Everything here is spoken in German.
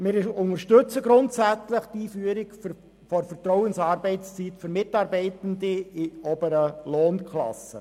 Wir unterstützen grundsätzlich die Einführung der Vertrauensarbeitszeit für Mitarbeitende in oberen Lohnklassen.